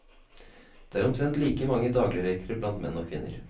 Det er omtrent like mange dagligrøykere blant menn og kvinner.